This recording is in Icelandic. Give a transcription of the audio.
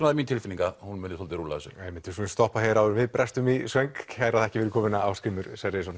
mín tilfinning að hún muni rúlla þessu upp við skulum stoppa hér áður en við brestum í söng kærar þakkir fyrir komuna Ásgrímur